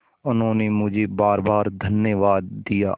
उन्होंने मुझे बारबार धन्यवाद दिया